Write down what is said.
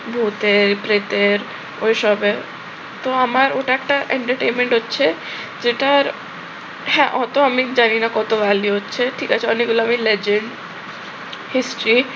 ভূতের প্রেতের ওই সবের। তো আমার ওটা একটা entertainment হচ্ছে যেটার হ্যাঁ অতো আমি জানি না কত value হচ্ছে ঠিক আছে অনেকগুলো আমি legend history